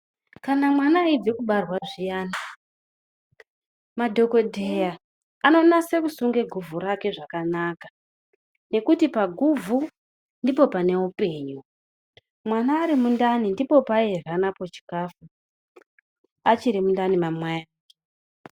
Kana mwana eibva kubarwa zviyani madhokodheya anonase kusunga guvhu rake zvakanaka nekuti paguvhu ndipo pane upenyu, mwana ari mundani ndipo paairya napo chikafu achiri mundani mwamai ake.